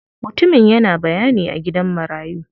Mutumin yana bayani a gidan marayu.